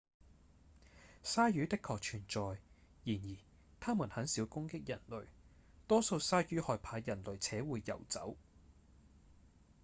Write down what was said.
鯊魚的確存在然而牠們很少攻擊人類多數鯊魚害怕人類且會游走